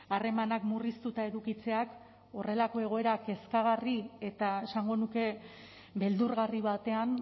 harremanak murriztuta edukitzeak horrelako egoera kezkagarri eta esango nuke beldurgarri batean